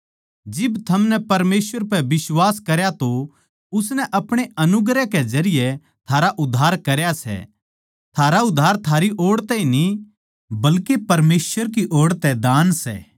जिब थमनै परमेसवर पै बिश्वास करया तो उसनै आपणे अनुग्रह के जरिये थारा उद्धार करया सै थारा उद्धार थारी ओड़ तै न्ही बल्के परमेसवर ओड़ तै दान सै